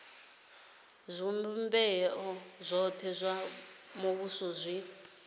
zwivhumbeo zwothe zwa muvhuso zwi